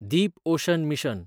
Deep ocean mission